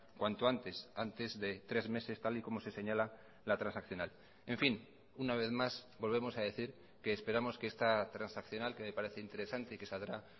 cuanto antes antes de tres meses tal y como se señala la transaccional en fin una vez más volvemos a decir que esperamos que esta transaccional que me parece interesante y que saldrá